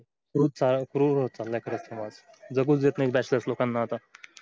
कृर होत चला समाज जगूच देत नाही bachelor लोकांना आता